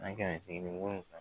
San kɛmɛ seegin ni wolon